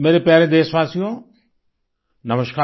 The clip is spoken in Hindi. मेरे प्यारे देशवासियो नमस्कार